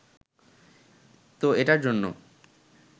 তো এটার জন্য